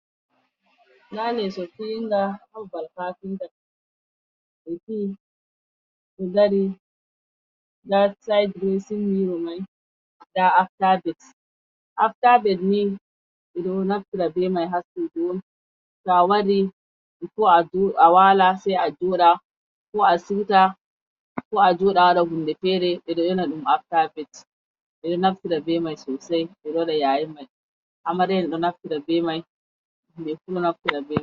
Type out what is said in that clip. Nda lesso fiyinga ha babal kafinta, ɓe fiyi, ɗo dari nda sit dres in mirow man, nda after bed, after bed ni ɓeɗo naftira be mai ha sudu on to awari before awala sai a joɗa ko a siwta ko a joɗa a waɗa kuje fere ɓeɗo yona ɗum after bed, ɓe ɗo naftira be mai sosai, ɓe ɗo waɗa yayi man amariya en ɗo naftira be man himɓɓe fu ɗo naftira.